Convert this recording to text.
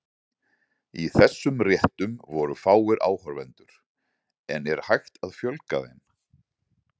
Í þessum réttum voru fáir áhorfendur, en er hægt að fjölga þeim?